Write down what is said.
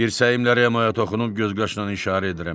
Dirsəyimlə Remoya toxunub gözqaşımla işarə edirəm.